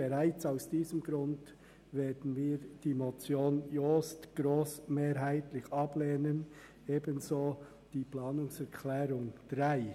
Bereits aus diesem Grund werden wir die Motion Jost grossmehrheitlich ablehnen, ebenso wie die Planungserklärung 3.